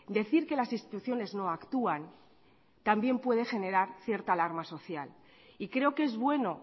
decir que las instituciones no actúan también puede generar cierta alarma social y creo que es bueno